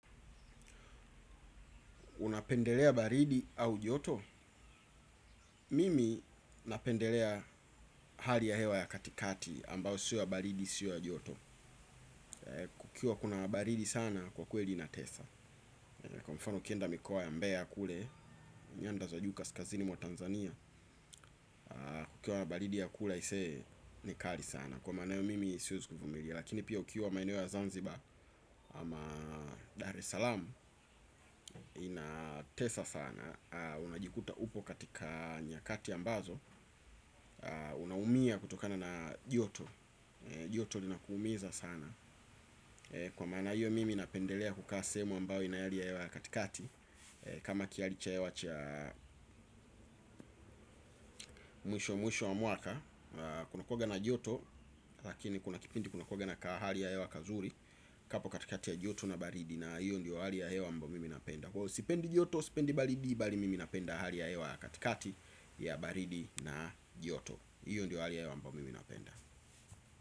Unapendelea baridi au joto? Mimi napendelea hali ya hewa ya katikati ambayo siyo ya baridi siyo ya joto. Kukiwa kuna baridi sana kwa kweli inatesa. Kwa mfano ukienda mikoa ya mbeya ya kule, nyanda za juu kaskazini mwa Tanzania, kukiwa na baridi ya kula aisee ni kali sana. Kwa maana hiyo mimi siwezi kuvumilia. Lakini pia ukiwa maeneo ya Zanzibar ama Dar es Salaam inatesa sana. Unajikuta upo katika nyakati ambazo unaumia kutokana na joto. Joto linakuumiza sana kwa maana hiyo mimi napendelea kukaa sehemu ambayo ina hali ya hewa ya katikati. Kama kihali cha hewa cha mwisho mwisho wa mwaka kunakuanga na joto lakini kuna kipindi kunakuanga na kahali ya hewa kazuri. Hapo katikati ya joto na baridi na hiyo ndio hali ya hewa ambayo mimi napenda kwa hiyo sipendi joto, sipendi baridi bali mimi napenda hali ya hewa ya katikati ya baridi na joto hiyo ndio hali ya hewa ambayo mimi napenda.